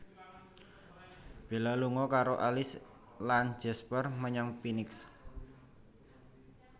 Bella lunga karo Alice lan Jasper menyang Phoenix